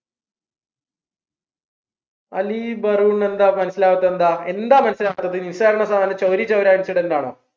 അലി എന്താ മനസ്സിലാവാത്തത് എന്താ എന്താ മനസ്സിലാവാത്തത് നിസ്സാരണ ചൗരി ചൗര incident ആണോ